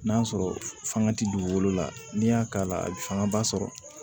N'a sɔrɔ fanga ti dugukolo la n'i y'a k'a la a bi fangaba sɔrɔ